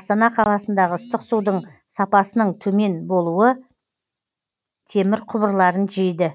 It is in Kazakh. астана қаласындағы ыстық судың сапасының төмен болуы темір құбырларын жейді